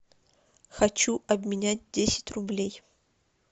хочу обменять десять рублей